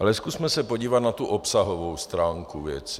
Ale zkusme se podívat na tu obsahovou stránku věci.